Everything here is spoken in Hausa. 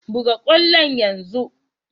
Buga kwallon yanzu!